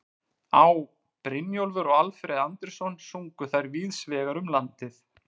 Á., Brynjólfur og Alfreð Andrésson sungu þær víðs vegar um landið.